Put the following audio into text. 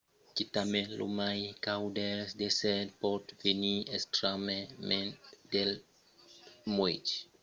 quitament lo mai caud dels desèrts pòt venir extrèmament freg de nuèch. l'ipotermia es una risca vertadièra sens vestimenta cauda